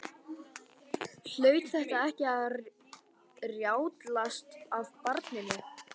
Hlaut þetta ekki að rjátlast af barninu?